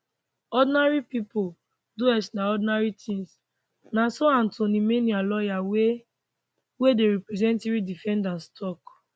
ordinary pipo do extraordinary tins na so antoine minier lawyer wey wey dey represent three defendants tok